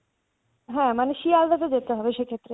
মানে শিলদাতে যেতে হবে সেই ক্ষেত্রে